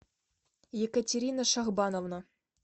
екатерина шахбановна